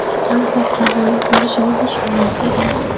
Albatta, g‘olib bo‘lishimga ishonmas edim.